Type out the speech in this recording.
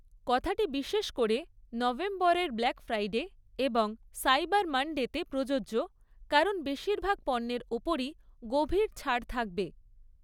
কথাটি বিশেষ করে নভেম্বরের ব্ল্যাক ফ্রাইডে এবং সাইবার মান্‌ডে তে প্রযোজ্য, কারণ বেশিরভাগ পণ্যের ওপরই গভীর ছাড় থাকবে।